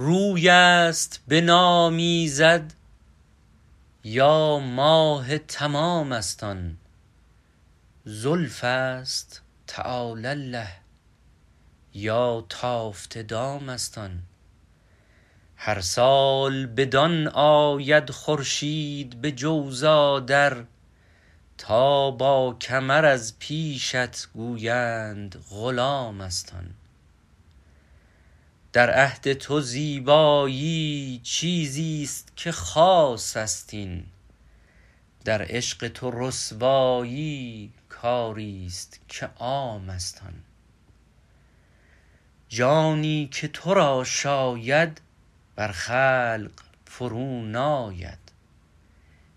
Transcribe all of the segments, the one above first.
روی است به نام ایزد یا ماه تمام است آن زلف است تعالی الله یا تافته دام است آن هر سال بدان آید خورشید به جوزا در تا با کمر از پیشت گویند غلام است آن در عهد تو زیبایی چیزی است که خاص است این در عشق تو رسوایی کاری است که عام است آن جانی که تو را شاید بر خلق فرو ناید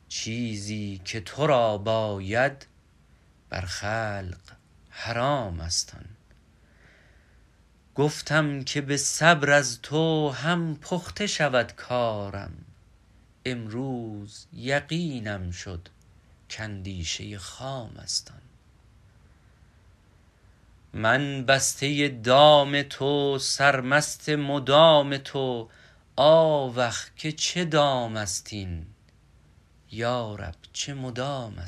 چیزی که تو را باید بر خلق حرام است آن گفتم که به صبر از تو هم پخته شود کارم امروز یقینم شد که اندیشه خام است آن من بسته دام تو سرمست مدام تو آوخ که چه دام است این یارب چه مدام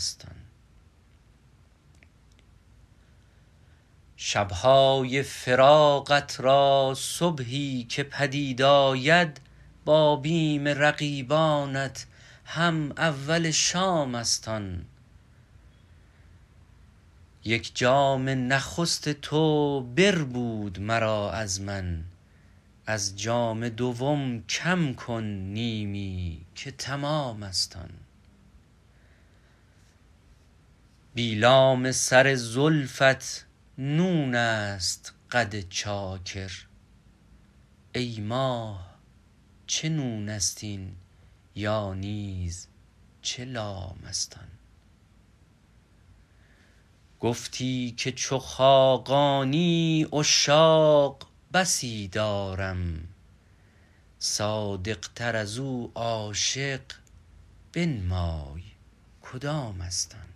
است آن شب های فراقت را صبحی که پدید آید با بیم رقیبانت هم اول شام است آن یک جام نخست تو بربود مرا از من از جام دوم کم کن نیمی که تمام است آن بی لام سر زلفت نون است قد چاکر ای ماه چه نون است این یا نیز چه لام است آن گفتی که چو خاقانی عشاق بسی دارم صادقتر ازو عاشق بنمای کدام است آن